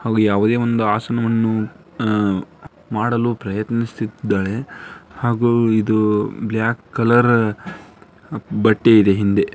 ಹಾಗೂ ಯಾವುದೋ ಒಂದು ಆಸನವನ್ನು ಆ -ಆ ಮಾಡಲು ಪ್ರಯತ್ನಿಸುತ್ತಿದ್ದಾಳೆ ಹಾಗೂ ಇದು ಬ್ಲಾಕ್ ಕಲರ್ ಬಟ್ಟೆ ಇದೆ ಹಿಂದೆ .